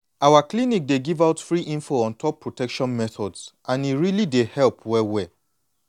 our clinic dey give out free info on top protection methods and e really dey help well well.